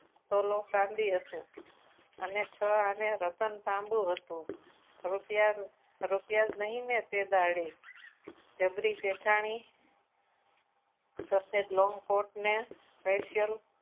તોલો ચાંદી હતા અને છ આને રતન તાંબુ હતું રૂપિયાનું રૂપિયા જ નહીં ને પહેલામાં જબરી શેઠાણી સફેદ લોંગ કોટને special